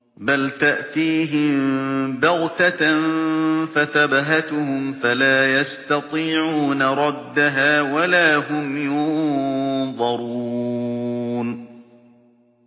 بَلْ تَأْتِيهِم بَغْتَةً فَتَبْهَتُهُمْ فَلَا يَسْتَطِيعُونَ رَدَّهَا وَلَا هُمْ يُنظَرُونَ